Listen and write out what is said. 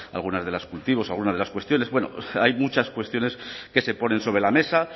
algunos de los cultivos algunas de las cuestiones bueno hay muchas cuestiones que se ponen sobre la mesa